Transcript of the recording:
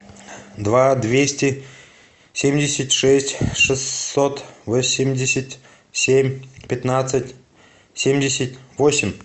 два двести семьдесят шесть шестьсот восемьдесят семь пятнадцать семьдесят восемь